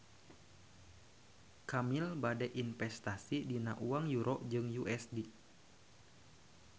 Kamil bade investasi dina uang Euro jeung USD